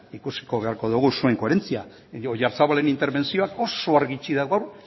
ikusiko beharko dugu zuen koherentzia oyarzabalen interbentzioak oso argi utzi du gaur